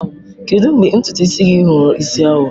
Kedu mgbe ntutu isi gị ghọrọ isi awọ?